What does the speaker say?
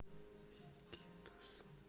икитос